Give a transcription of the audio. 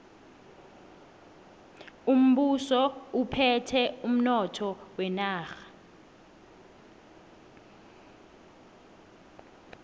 umbuso uphethe umnotho wenarha